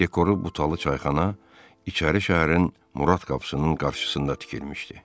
Dekoru butalı çayxana içəri şəhərin Murad qapısının qarşısında tikilmişdi.